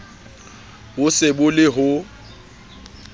bo se bo le ho